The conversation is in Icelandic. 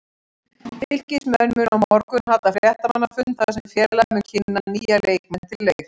Fylkismenn munu á morgun halda fréttamannafund þar sem félagið mun kynna nýja leikmenn til leiks.